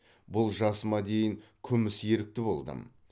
бұл жасыма дейін күміс ерікті болдым